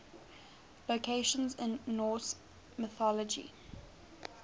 locations in norse mythology